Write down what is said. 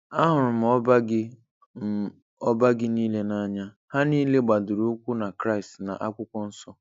Ahụrụ m ọba gị m ọba gị niile n'anya. Ha niile gbadoro ụkwụ na Kraịst na Akwụkwọ Nsọ.